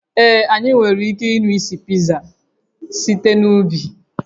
Ee, anyị nwere ike ịnụ isi Pizza site n'ubi